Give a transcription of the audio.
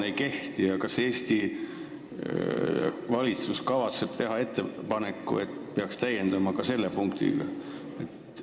Kas Eesti valitsus kavatseb teha ettepaneku täiendada seda ka sellise punktiga?